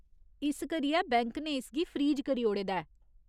इस करियै बैंक ने इसगी फ्रीज करी ओड़े दा ऐ।